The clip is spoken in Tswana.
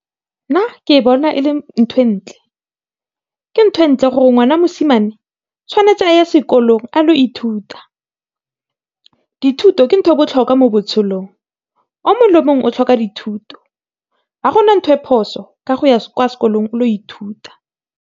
Nna ke e bona e le ntho e ntle, ke ntho e ntle gore ngwana wa mosimane tshwanetse a ye sekolong a ye go ithuta. Dithuto ke ntho e e botlhokwa mo botshelong, o mongwe le o mongwe o tlhoka dithuto ga go na ntho e phoso ka go ya kwa sekolong o ile go ithuta.